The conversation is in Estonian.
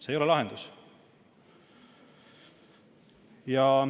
See ei ole lahendus.